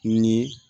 Ni